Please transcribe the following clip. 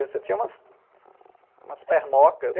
Você tinha umas pernocas.